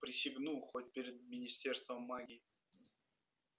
присягну хоть перед министерством магии